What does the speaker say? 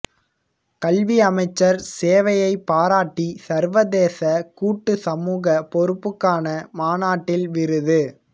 கல்வி அமைச்சர் சேவையை பாராட்டி சர்வதேச கூட்டு சமூக பொறுப்புக்கான மாநாட்டில் விருது